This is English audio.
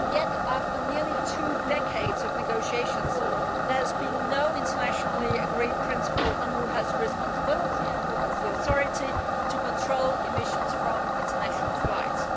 Yet, after nearly two decades of negotiations, there has been no internationally agreed principle on who has the responsibility and who has the authority to control emissions from international flights.